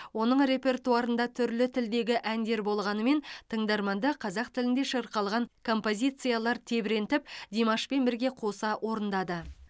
оның репертуарында түрлі тілдегі әндер болғанымен тыңдарманды қазақ тілінде шырқалған композициялар тебірентіп димашпен бірге қоса орындады